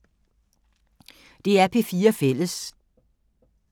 DR P4 Fælles